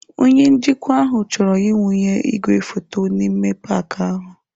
Onye njikwa ahụ chọrọ ịwụnye igwefoto n'ime paaki ahụ.